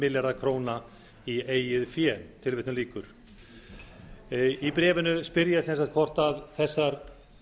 milljarða króna í eigið fé í bréfinu spyr ég sem sagt hvort þessar